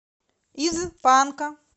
из панка